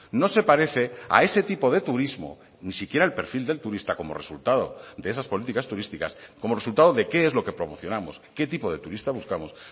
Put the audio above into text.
no se parece a ese tipo de turismo ni siquiera el perfil del turista como resultado de esas políticas turísticas como resultado de qué es lo que promocionamos qué tipo de turista buscamos